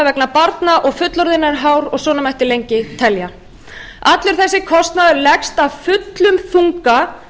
vegna barna og fullorðinna er hár og svona mætti lengi telja allur þessi kostnaður leggst af fullum þunga